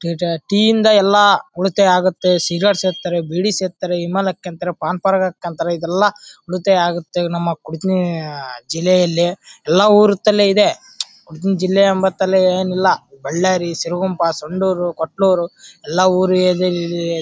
Theta ಟೀಯಿಂದ ಎಲ್ಲಾ ಉಳಿತಾಯ ಆಗುತ್ತೆ ಸಿಗರೆಟ್ ಸೆತ್ತರೆ ಬಿಡಿ ಸೆತ್ತರೆ ಇಮಾಲಕ್ ಅಂತರೆ ಪಾನ್ ಪರಾಗ್ ಹಾಕೋಂತ್ತರೆ ಇದೆಲ್ಲಾ ಉಳಿತಾಯ ಆಗುತ್ತೆ ನಮ್ಮ ಜಿಲ್ಲೆಯಲ್ಲಿ. ಎಲ್ಲಾ ಉರುತ್ತಲ್ಲೇ ಇದೆ ಏನ್ ಇಲ್ಲಾ ಬಳ್ಳಾರಿ ಸಿರಗುಪ್ಪ ಸಂಡೂರು ಕೊಟ್ಟನೂರು ಎಲ್ಲಾ ಊರು